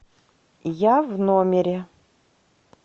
я в номере